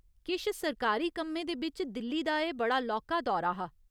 किश सरकारी कम्में दे बिच्च दिल्ली दा एह् बड़ा लौह्का दौरा हा।